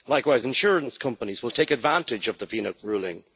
Likewise, insurance companies will take advantage of the Vnuk ruling.